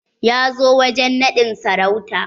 Ya zo wajen naɗin sarauta?